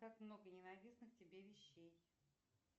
как много ненавистных тебе вещей